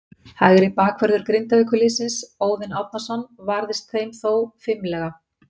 Hægri bakvörður Grindavíkurliðsins, Óðinn Árnason, varðist þeim þó fimlega.